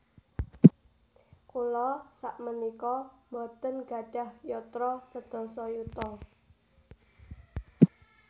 Kula sakmenika mboten nggadhah yatra sedasa yuta